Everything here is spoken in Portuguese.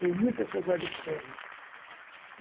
Tenho muita saudade desse tempo.